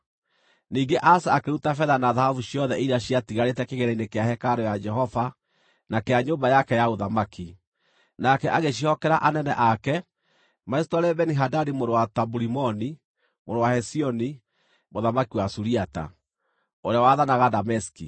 Ningĩ Asa akĩruta betha na thahabu ciothe iria ciatigarĩte kĩgĩĩna-inĩ kĩa hekarũ ya Jehova na kĩa nyũmba yake ya ũthamaki. Nake agĩciĩhokera anene ake macitwarĩre Beni-Hadadi mũrũ wa Taburimoni, mũrũ wa Hezioni, mũthamaki wa Suriata, ũrĩa waathanaga Dameski.